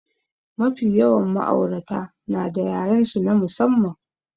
Mafi yawan ma'aurata nada yarensu na musamman.